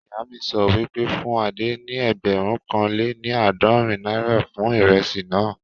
Ìyá mi sọ wípé, fún Adé ní ẹgbẹ̀rún kan lé ní àádọ́rin náírà fún ìrẹsì naa